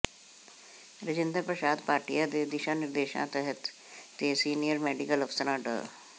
ਰਾਜਿੰਦਰ ਪ੍ਰਸ਼ਾਦ ਭਾਟੀਆ ਦੇ ਦਿਸ਼ਾ ਨਿਰਦੇਸ਼ਾਂ ਤਹਿਤ ਤੇ ਸੀਨੀਅਰ ਮੈਡੀਕਲ ਅਫ਼ਸਰ ਡਾ